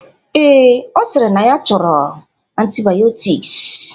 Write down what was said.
Ee, Ọ sịrị na ya chọrọ antibayọtiks